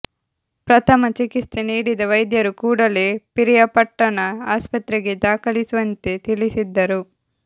ಪ್ರಥಮ ಚಿಕಿತ್ಸೆ ನೀಡಿದ ವೈದ್ಯರು ಕೂಡಲೇ ಪಿರಿಯಾಪಟ್ಟಣ ಆಸ್ಪತ್ರೆಗೆ ದಾಖಲಿಸುವಂತೆ ತಿಳಿಸಿದ್ದರು